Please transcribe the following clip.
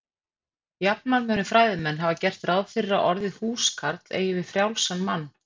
Jafnan munu fræðimenn hafa gert ráð fyrir að orðið húskarl eigi við frjálsan mann.